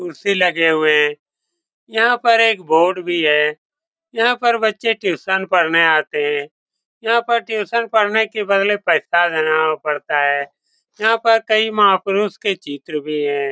कुर्सी लगे हुए हैं यहाँ पर एक बोर्ड भी है यहाँ पर बच्चे ट्यूशन पढ़ने आते हैं यहाँ पर ट्यूशन पढने के बदले पैसा देना पड़ता है यहाँ पर कई महापुरुष के चित्र भी हैं।